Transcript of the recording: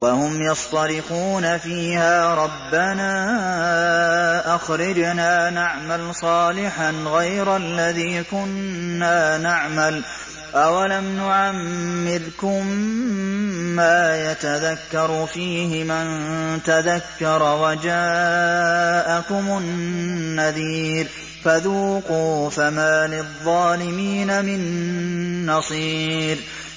وَهُمْ يَصْطَرِخُونَ فِيهَا رَبَّنَا أَخْرِجْنَا نَعْمَلْ صَالِحًا غَيْرَ الَّذِي كُنَّا نَعْمَلُ ۚ أَوَلَمْ نُعَمِّرْكُم مَّا يَتَذَكَّرُ فِيهِ مَن تَذَكَّرَ وَجَاءَكُمُ النَّذِيرُ ۖ فَذُوقُوا فَمَا لِلظَّالِمِينَ مِن نَّصِيرٍ